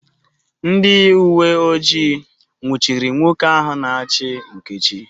Ndị uwe ojii nwụchiri nwoke ahụ na-achụ Nkechi